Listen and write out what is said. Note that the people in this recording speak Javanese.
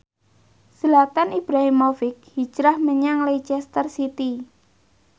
Zlatan Ibrahimovic hijrah menyang Leicester City